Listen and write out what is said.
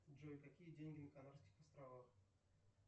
джой какие деньги на канарских островах